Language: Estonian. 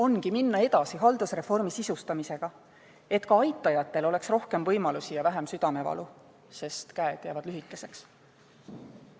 Tuleb minna edasi haldusreformi sisustamisega, et ka aitajatel oleks rohkem võimalusi ja vähem südamevalu, sest käed jäävad lühikeseks.